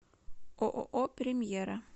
ооо премьера